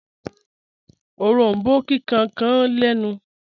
Òrombó kíkan kàn lẹ̀nu